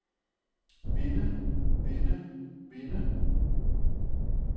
vinde vinde vinde